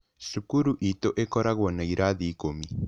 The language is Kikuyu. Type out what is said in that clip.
Cukuru itũ ĩkoragwo na ĩrathi ikũmi.